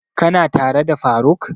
Ka na tare da faruk?